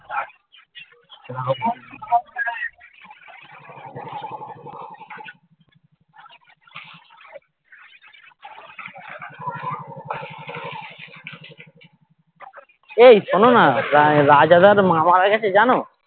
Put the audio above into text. এই শোনো না রাজাদার মা মারা গেছে জানো